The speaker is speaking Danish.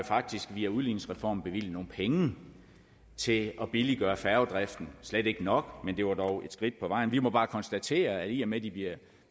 faktisk via udligningsreformen har bevilget nogle penge til at billiggøre færgedriften det slet ikke nok men det var dog et skridt på vejen vi må bare konstatere at i og med de bliver